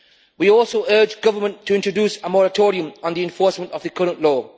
We also urge the government to introduce a moratorium on the enforcement of the current law.